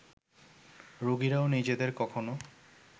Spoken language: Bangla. রোগীরাও নিজেদের কখনো